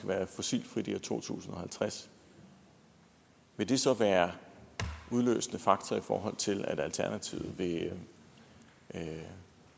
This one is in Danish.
være fossilfrit i år to tusind og halvtreds vil det så være den udløsende faktor i forhold til at alternativet vil